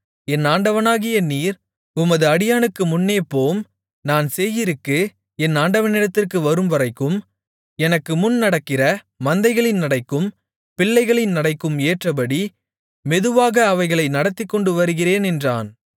என் ஆண்டவனாகிய நீர் உமது அடியானுக்கு முன்னே போம் நான் சேயீருக்கு என் ஆண்டவனிடத்திற்கு வரும்வரைக்கும் எனக்குமுன் நடக்கிற மந்தைகளின் நடைக்கும் பிள்ளைகளின் நடைக்கும் ஏற்றபடி மெதுவாக அவைகளை நடத்திக்கொண்டு வருகிறேன் என்றான்